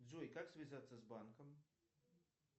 джой как связаться с банком